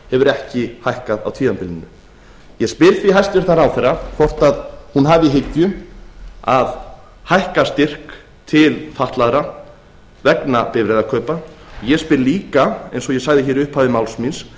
hefur ekki hækkað á tímabilinu ég spyr því hæstvirtur ráðherra hvort að hún hafi í hyggju að hækka styrk til fatlaðra vegna bifreiðakaupa og ég spyr líka eins og ég sagði hér í upphafi máls míns